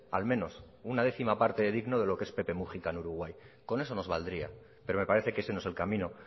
al menos una décima parte de digno de lo que es pepe mujica en uruguay con eso nos valdría pero me parece que ese no es el camino